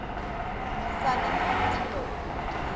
southern poverty law